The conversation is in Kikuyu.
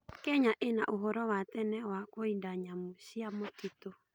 Kenya ĩna ũhoro wa tene wa kũida nyamũ cia mũtitũ.